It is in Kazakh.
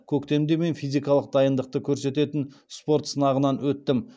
көктемде мен физикалық дайындықты көрсететін спорт сынағынан өттім